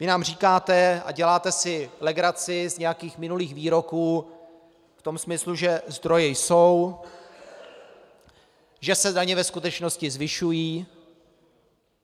Vy nám říkáte a děláte si legraci z nějakých minulých výroků v tom smyslu, že zdroje jsou, že se daně ve skutečnosti zvyšují.